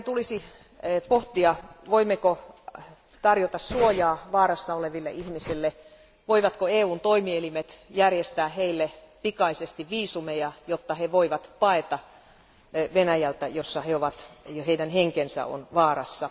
Meidän tulisi pohtia, voimmeko tarjota suojaa vaarassa oleville ihmisille, voivatko EUn toimielimet järjestää heille pikaisesti viisumeja, jotta he voivat paeta Venäjältä, jossa he ovat ja heidän henkensä on vaarassa.